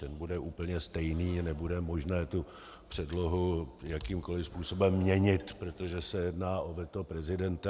Ten bude úplně stejný, nebude možné tu předlohu jakýmkoliv způsobem měnit, protože se jedná o veto prezidenta.